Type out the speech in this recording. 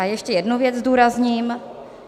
A ještě jednu věc zdůrazním.